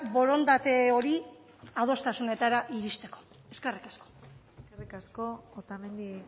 borondate hori adostasunetara iristeko eskerrik asko eskerrik asko otamendi